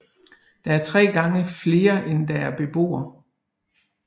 Det er tre gange flere end der er beboere